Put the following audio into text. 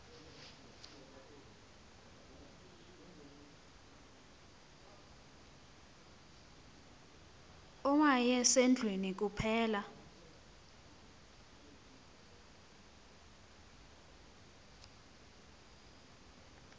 owaye sendlwini kuphela